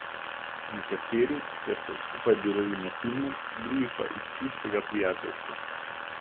Nekateri, ker so skupaj delali na filmu, drugi pa iz čistega prijateljstva.